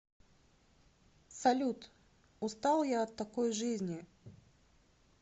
салют устал я от такой жизни